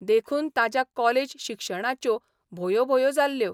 देखून ताच्या कॉलेज शिक्षणाच्यो भोयो भोयो जाल्ल्यो.